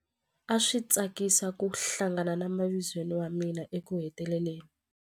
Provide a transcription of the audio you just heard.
A swi tsakisa ku hlangana na mavizweni wa mina ekuheteleleni.